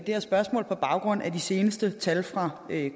det her spørgsmål på baggrund af de seneste tal fra